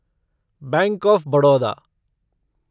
bank of Baroda